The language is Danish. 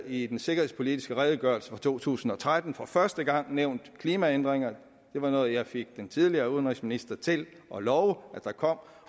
i den sikkerhedspolitiske redegørelse fra to tusind og tretten for første gang nævnt klimaændringerne det var noget jeg fik den tidligere udenrigsminister til at love at der kom